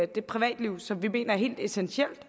det privatliv som vi mener er helt essentielt